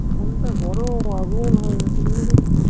phone টা গরম আগুন হয়ে গেছে